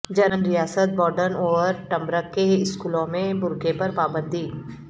German ریاست Baden Wurttemberg کے اسکولوں میں برقعے پر پابندی